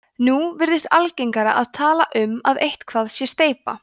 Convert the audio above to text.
nú virðist algengara að tala um að eitthvað sé steypa